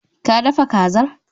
Ka dafa kazar?